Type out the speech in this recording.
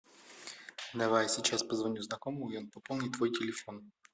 давай сейчас позвоню знакомому и он пополнит твой телефон